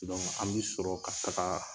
Donc an bɛ sɔrɔ ka taga